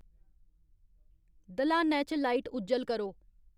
दल्हानै च लाइट उज्जल करो